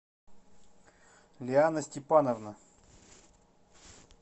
лиана степановна